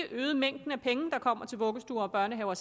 øget mængden af penge der kommer til vuggestuer og børnehaver